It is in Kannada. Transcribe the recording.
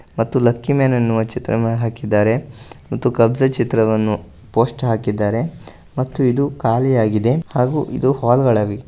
ಮತ್ತು ಲಕ್ಕಿಮಾನ್ ಎನ್ನುವ ಚಿತ್ರವನ್ನು ಹಾಕಿದ್ದಾರೆ ಮತ್ತು ಕಬ್ಜ ಚಿತ್ರವನ್ನು ಪೋಸ್ಟ್ ಹಾಕಿದ್ದಾರೆ ಮತ್ತು ಇದು ಖಾಲಿಯಾಗಿದೆ ಹಾಗು ಇದು ಹಾಲ್ಗಳಾಗಿದೆ.